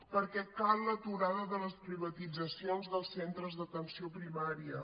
perquè cal l’aturada de les privatitzacions dels centres d’atenció primària